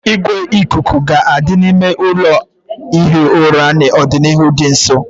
Igwe ikuku ga-adị n'ime ụlọ ihi ụra n'ọdịnihu dị nso